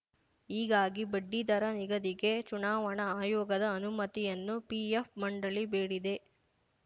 ಹೀಗಾಗಿ ಬಡ್ಡಿದರ ನಿಗದಿಗೆ ಚುನಾವಣಾ ಆಯೋಗದ ಅನುಮತಿಯನ್ನು ಪಿಎಫ್‌ ಮಂಡಳಿ ಬೇಡಿದೆ